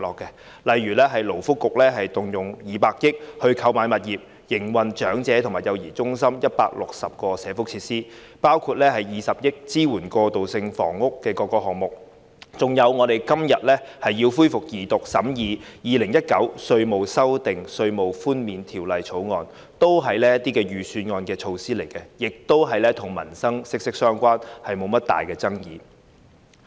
舉例來說，勞工及福利局動用200億元購買物業，用以營運長者和幼兒中心等160個社福設施；動用20億元支援各個過渡性房屋項目，以及我們今天恢復二讀辯論審議的《2019年稅務條例草案》，均是預算案中的措施，亦與民生息息相關，沒有甚麼大爭議。